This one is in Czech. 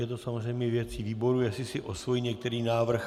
Je to samozřejmě věci výboru, jestli si osvojí některý návrh.